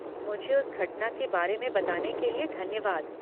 मुझे उस घटना के बारे में बताने के लिए धन्यवाद।